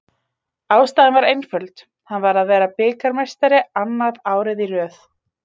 Ástæðan var einföld, hann var að vera bikarmeistari, annað árið í röð.